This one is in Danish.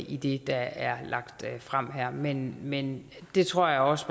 i det der er lagt frem her men men der tror jeg også